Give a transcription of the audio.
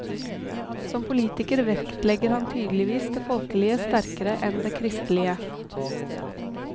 Som politiker vektlegger han tydeligvis det folkelige sterkere enn det kristelige.